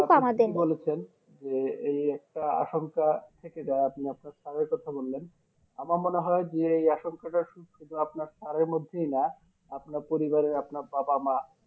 আপনি ঠিকই বলেছেন যে এই একটা আসংখ্যা থেকে যাই আপনি আপনার স্যারের কথা বললেন আমার মনে হয় যে এই আসংখ্যাটা শুধু আপনার স্যারের মধ্যেই না আপনার পরিবারের আপনার বাবা মা